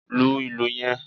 Lu ìlù yen